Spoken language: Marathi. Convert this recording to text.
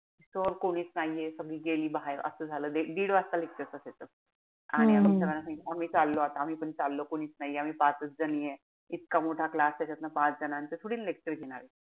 कि sir कोणीच नाहीये. सगळी गेली बाहेर असं झालं. एक डिड वाजता lecture असायचं. आणि आम्ही sir ना सांगितलं आमची चाललो आता. आम्ही पण चाललो कोणीच नाहीये. पाचच जणी आहे. इतका मोठा class. त्याच्यातून पाच जणांचं थोडी lecture घेणार.